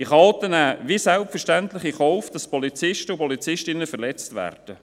Diese Chaoten nehmen wie selbstverständlich in Kauf, dass Polizisten und Polizistinnen verletzt werden.